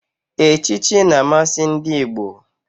Echichi na-amasị ndị Igbo.